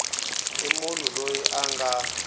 i munhu loyi a nga